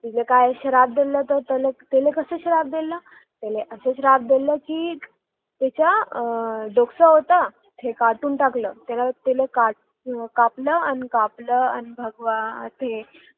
तिला काय श्राप दिल तर असा कास श्राप दिल अर आहे कि आह त्याचे डोकं होत ते कापून टाकलं ते कापलं आणि कपाळ आणि ते भगवान